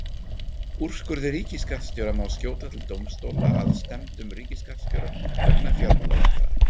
Úrskurði ríkisskattstjóra má skjóta til dómstóla að stefndum ríkisskattstjóra vegna fjármálaráðherra.